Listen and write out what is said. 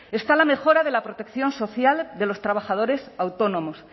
está la mejora de la protección social de los trabajadores autónomos